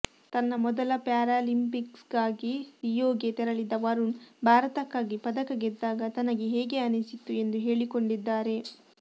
ತನ್ನ ಮೊದಲ ಪ್ಯಾರಾಲಿಂಪಿಕ್ಸ್ಗಾಗಿ ರಿಯೊಗೆ ತೆರಳಿದ್ದ ವರುಣ್ ಭಾರತಕ್ಕಾಗಿ ಪದಕ ಗೆದ್ದಾಗ ತನಗೆ ಹೇಗೆ ಅನಿಸಿತು ಎಂದು ಹೇಳಿಕೊಂಡಿದ್ದಾರೆ